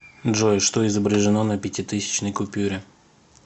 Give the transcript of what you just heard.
джой что изображено на пятитысячной купюре